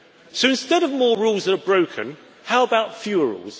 So, instead of more rules that are broken, how about fewer rules